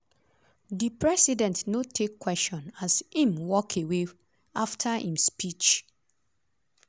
di president no take question as im walk away afta im speech.